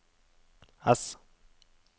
S